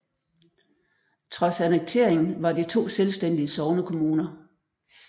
Trods annekteringen var de to selvstændige sognekommuner